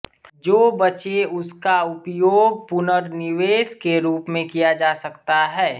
जो बचे उसका उपयोग पुनर्निवेश के रूप में किया जा सकता है